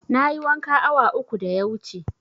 Na yi wanka awa uku da ya wuce